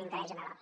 l’interès general